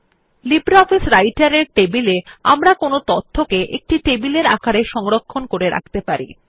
LibreOffice রাইটের এর টেবিলে আমরা তথ্যকে একটি টেবিলের আকারে সংরক্ষণ করে রাখতে পারি